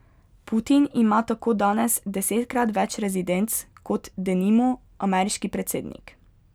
Putin ima tako danes desetkrat več rezidenc kot, denimo, ameriški predsednik.